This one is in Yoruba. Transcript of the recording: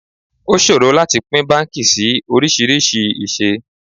O ṣòro láti pín báńkì sí oríṣiríṣi ìṣe.